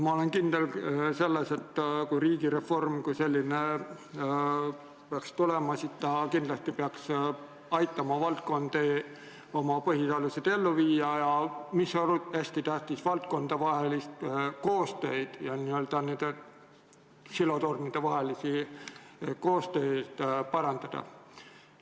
Ma olen kindel, et kui riigireform kui selline peaks tulema, siis ta peaks kindlasti aitama valdkondi oma põhialuseid ellu viia ja – see on hästi tähtis – valdkondade koostööd ja n-ö nende silotornide koostööd parandada.